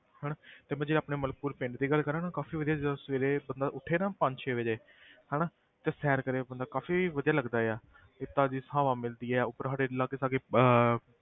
ਹਨਾ ਤੇ ਮੈਂ ਜੇ ਆਪਣੇ ਮਲਕਪੁਰ ਪਿੰਡ ਦੀ ਗੱਲ ਕਰਾਂ ਨਾ ਕਾਫ਼ੀ ਵਧੀਆ ਜਦੋਂ ਸਵੇਰੇ ਬੰਦਾ ਉੱਠੇ ਨਾ ਪੰਜ ਛੇ ਵਜੇ ਹਨਾ ਤੇ ਸੈਰ ਕਰੇ ਬੰਦਾ ਕਾਫ਼ੀ ਵਧੀਆ ਲੱਗਦਾ ਆ ਇਹ ਤਾਜ਼ੀ ਹਵਾ ਮਿਲਦੀ ਹੈ, ਉੱਪਰ ਸਾਡੇ ਲਾਗੇ ਸਾਗੇ ਅਹ